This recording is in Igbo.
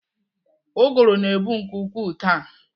Ụgụrụ na-ebu nke ukwuu taa.